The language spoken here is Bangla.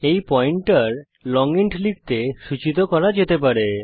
এই পয়েন্টার লং ইন্ট লিখতে সূচিত করা যেতে পারে